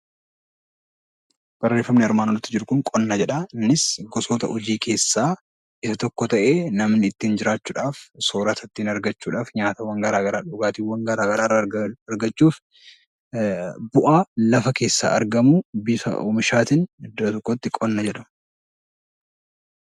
Qonni gosoota hojii keessaa tokko ta'ee namni ittiin jiraachuudhaaf soorata ittiin argachuudhaaf nyaata garaagaraa dhugaatiiwwan garaagaraa argachuuf bu'aa lafa keessaa argamu qonna jedhama .